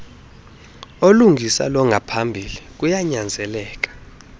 olungisa longaphambili kuyanyanzeleka